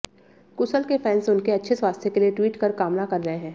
कुसल के फैंस उनके अच्छे स्वास्थ्य के लिए ट्वीट कर कामना कर रहे हैं